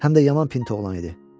Həm də yaman pint oğlan idi.